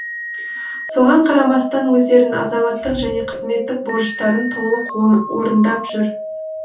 соған қарамастан өздерінің азаматтық және қызметтік борыштарын толық орындап жүр